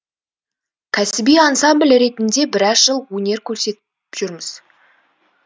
кәсіби ансамбль ретінде біраз жыл өнер көрсетіп жүрміз